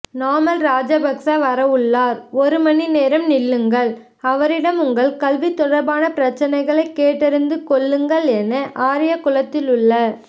நாமல் ராஜபக்ச வரவுள்ளார் ஒரு மணிநேரம் நில்லுங்கள் அவரிடம் உங்கள் கல்விதொடர்பான பிரச்சினைகளை கேட்டறிந்து கொள்ளுங்கள் என ஆரியகுளத்திலுள்ள